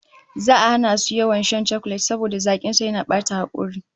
Za'a hana su yawan shan chakulet saboda zakin sa yana bata hakora